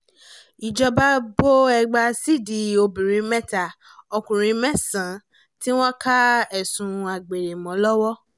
ìjọba bo ẹgba sídìí obìnrin mẹ́ta ọkùnrin mẹ́sàn-án tí wọ́n ká ẹ̀sùn àgbèrè mọ́ lọ́wọ́